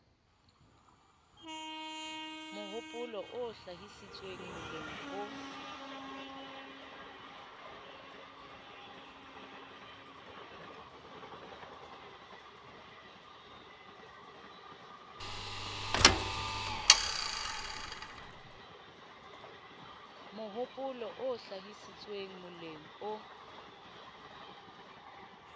mohopolo o hlahisitsweng moleng o